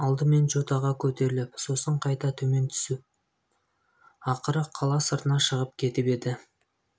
алдымен жотаға көтеріліп сосын қайта төмен түсіп ақыры қала сыртына шығып кетіп еді